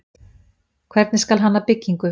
Hvernig skal hanna byggingu?